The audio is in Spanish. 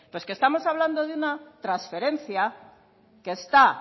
pero es que estamos hablando de una transferencia que está